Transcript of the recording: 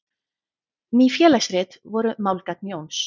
Ný félagsrit voru málgagn Jóns.